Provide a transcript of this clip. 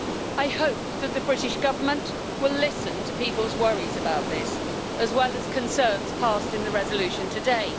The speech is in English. I hope that the British Government will listen to people's worries about this, as well as concerns passed in the resolution today.